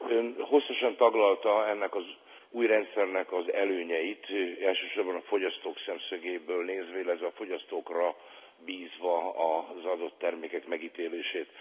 Ön hosszasan taglalta ennek az új rendszernek az előnyeit, elsősorban a fogyasztók szemszögéből nézve, illetve a fogyasztókra bízva az adott termékek megítélését.